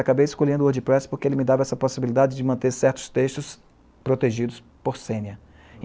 Acabei escolhendo o Wordpress porque ele me dava essa possibilidade de manter certos textos protegidos por senha